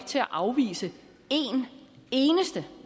til at afvise en eneste